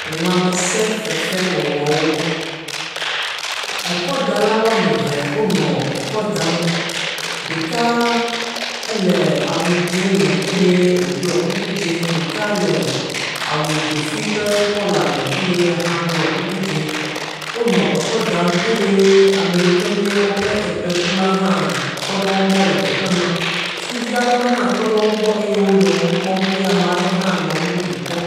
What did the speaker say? Lãmesẽ fefe wɔwɔwo. Ekɔdala wo ame eve wo le ekɔ dam. Ɖeka ele awu dzɛ me eye wo ɖɔe kuku dzɛ. Ɖeka le awu dzofi ƒe kolor me eye ya hã ɖɔe kuku dzɛ. Wonɔ ekɔ dam eye yike nye woƒe ekpɛ ku la hã tɔ ɖe wogbɔ le teƒe maa. Sukuvi aɖewo hã tɔ ɖe wogbɔ eye wo nɔ nu kpɔm eye ame aɖe hã nɔ nu bubu kpɔm.